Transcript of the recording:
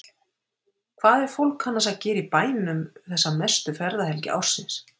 Hvað er fólk annars að gera í bænum þessa mestu ferðahelgi ársins?